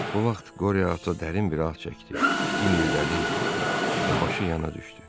Bu vaxt Qoriya ata dərin bir ah çəkdi, inildədi və başı yana düşdü.